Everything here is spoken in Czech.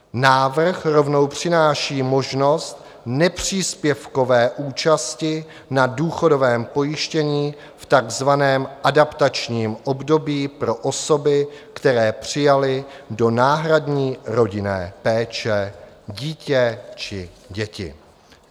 Návrh rovnou přináší možnost nepříspěvkové účasti na důchodovém pojištění v takzvaném adaptačním období pro osoby, které přijaly do náhradní rodinné péče dítě či děti.